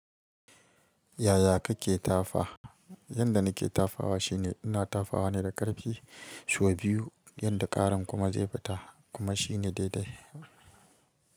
Yaya kake tafa? Yanda nake tafawa shine ina tafawa ne da ƙarfi sau biyu yanda ƙaran kuma zai fita kuma shine daidai.